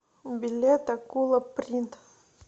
билет акула принт